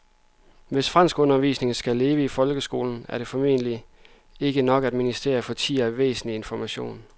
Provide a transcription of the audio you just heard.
Hvis franskundervisningen skal leve i folkeskolen er det formentlig ikke nok, at ministeriet ikke fortier væsentlig information.